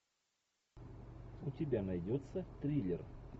у тебя найдется триллер